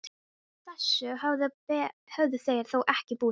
Þessu höfðu þeir þó ekki búist við.